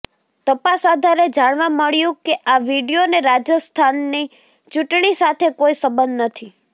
તપાસ આધારે જાણવા મળ્યું કે આ વીડિયોને રાજસ્થાનની ચૂંટણી સાથે કોઈ સંબંધ નથી